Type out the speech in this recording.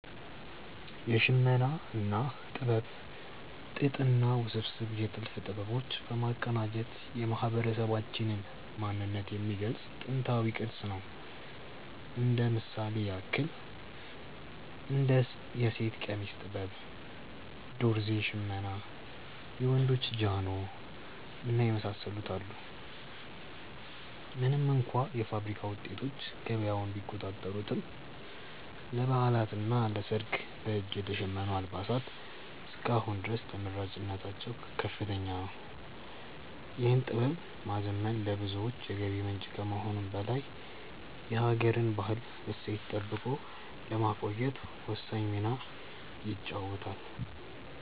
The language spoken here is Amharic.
የሽመና ጥበብ ጥጥንና ውስብስብ የጥልፍ ጥበቦች በማቀናጀት የማህበረሰባችንን ማንነት የሚገልጽ ጥንታዊ ቅርስ ነው። እንደ ምሳሌ ያክል እንደ የሴት ቀሚስ ጥበብ፣ ዶርዜ ሽመና፣ የወንዶች ጃኖ እና የመሳሰሉትን አሉ። ምንም እንኳ የፋብሪካ ውጤቶች ገበያውን ቢቆጣጠሩትም፣ ለበዓላትና ለሰርግ በእጅ የተሸመኑ አልባሳት እስከ አሁን ድረስ ተመራጭነታቸው ከፍተኛ ነው። ይህን ጥበብ ማዘመን ለብዙዎች የገቢ ምንጭ ከመሆኑም በላይ የሀገርን ባህላዊ እሴት ጠብቆ ለማቆየት ወሳኝ ሚና ይጫወታል።